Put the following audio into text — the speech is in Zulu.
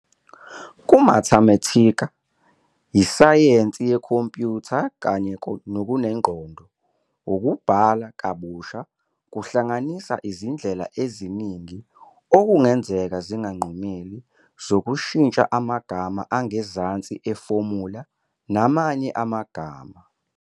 Kumathematika, isayensi yekhompiyutha, kanye nokunengqondo, ukubhala kabusha kuhlanganisa izindlela eziningi, okungenzeka zinganqumeli, zokushintsha amagama angezansi efomula namanye amagama.